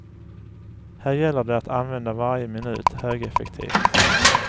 Här gäller det att använda varje minut högeffektivt.